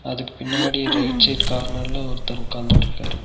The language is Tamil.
அதுக்கு பின்னாடி ரைட் சைட் கார்னர்ல ஒருத்தர் உக்காந்துட்ருக்காரு.